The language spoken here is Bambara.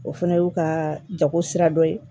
O fana y'u ka jago sira dɔ ye